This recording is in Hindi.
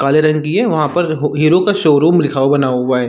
काले रंग की है वहाँ पर हीरो का शोरुम लिखा हुआ बना हुआ हैं ।